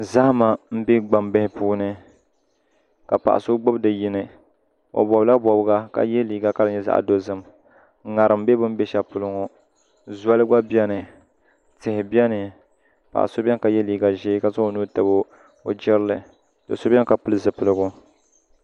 Zahama n bɛ gbambili puuni ka paɣa so gbubi di yini o bobla bobga ka yɛ liiga ka di nyɛ zaɣ dozim ŋarim bɛ bi ni bɛ shɛli polo ŋɔ zoli gba biɛni tihi biɛni paɣa so biɛni ka yɛ liiga ʒiɛ ka zaŋ o nuhi tabi o jirili do so biɛni ka pili zipiligu